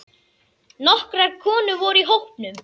Nokkrar konur voru í hópnum.